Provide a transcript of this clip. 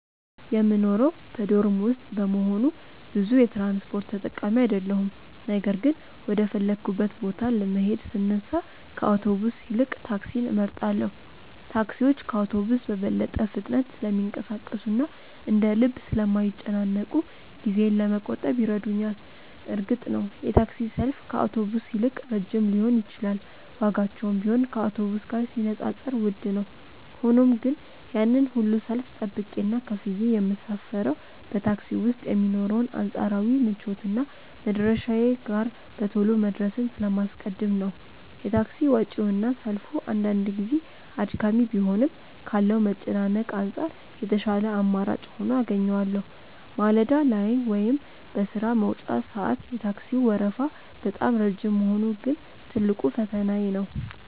የምኖረው በዶርም ውስጥ በመሆኑ ብዙ የትራንስፖርት ተጠቃሚ አይደለሁም ነገር ግን ወደ ፈለግኩበት ቦታ ለመሄድ ስነሳ ከአውቶቡስ ይልቅ ታክሲን እመርጣለሁ። ታክሲዎች ከአውቶቡስ በበለጠ ፍጥነት ስለሚንቀሳቀሱና እንደ ልብ ስለማይጨናነቁ ጊዜዬን ለመቆጠብ ይረዱኛል። እርግጥ ነው የታክሲ ሰልፍ ከአውቶቡስ ይልቅ ረጅም ሊሆን ይችላል ዋጋቸውም ቢሆን ከአውቶቡስ ጋር ሲነጻጸር ውድ ነው። ሆኖም ግን ያንን ሁሉ ሰልፍ ጠብቄና ከፍዬ የምሳፈረው በታክሲ ውስጥ የሚኖረውን አንጻራዊ ምቾትና መድረሻዬ ጋር በቶሎ መድረስን ስለማስቀድም ነው። የታክሲ ወጪውና ሰልፉ አንዳንድ ጊዜ አድካሚ ቢሆንም ካለው መጨናነቅ አንጻር የተሻለ አማራጭ ሆኖ አገኘዋለሁ። ማለዳ ላይ ወይም በሥራ መውጫ ሰዓት የታክሲው ወረፋ በጣም ረጅም መሆኑ ግን ትልቁ ፈተናዬ ነው።